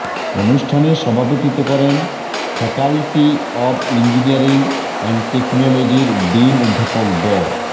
অনুষ্ঠানে সভাপতিত্ব করেন ফ্যাকাল্টি অব ইঞ্জিনিয়ারিং অ্যান্ড টেকনোলজির ডিন অধ্যাপক ড